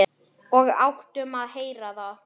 Og áttum að heyra það.